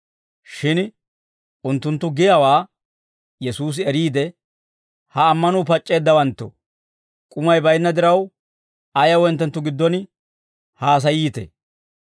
Shin unttunttu giyaawaa Yesuusi eriide, «Ha ammanuu pac'c'eeddawanttoo, k'umay baynna diraw, ayaw hinttenttu giddon haasayiitee?